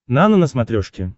нано на смотрешке